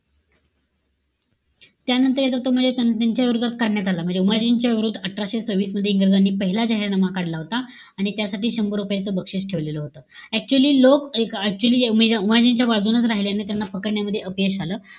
त्यानंतर येतो तो म्हणजे च्या विरोधात काढण्यात आला. म्हणजे उमाजीच्या विरोधात अठराशे सव्हिस मध्ये, इंग्रजांनी पहिला जाहीरनामा काढला होता. आणि त्यासाठी शम्भर रुपयाचं बक्षीस ठेवलेलं होतं. Actually लोक एक actually उम उमाजींच्याच बाजूनं राहिल्याने त्यांना पकडण्यामध्ये अपयश आलं.